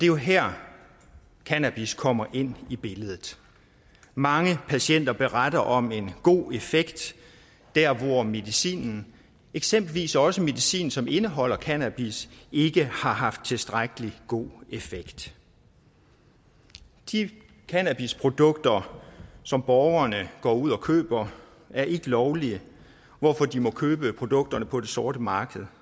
jo her cannabis kommer ind i billedet mange patienter beretter om en god effekt der hvor medicin eksempelvis også medicin som indeholder cannabis ikke har haft tilstrækkelig god effekt de cannabisprodukter som borgerne går ud og køber er ikke lovlige hvorfor de må købe produkterne på det sorte marked